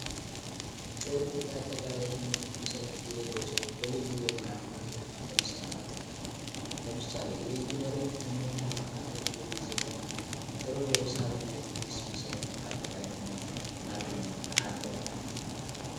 ጥሩ የአጠቃላይ ትምህርት መሰረት የሌለው ሰው ብልዩ የሙያ ትምህርቶች ለመሰማራት ይቸገረን ለምሳሌ የኢንጂኒየሪንግ ትምህርት ለመከታተል የሚያስብ ተማሪ ጥሩ የሂሳብ እና የፊዚክስ መሰረት ከአጠቃላይ ትምህርት ማገኘት አለበት።